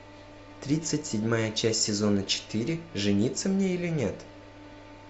тридцать седьмая часть сезона четыре жениться мне или нет